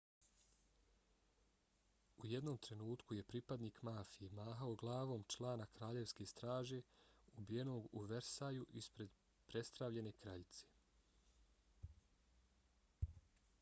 u jednom trenutku je pripadnik mafije mahao glavom člana kraljevske straže ubijenog u versaju ispred prestravljene kraljice